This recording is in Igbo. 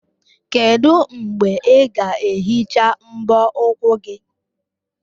Kedu mgbe ị ga-ehicha mbọ ụkwụ gị?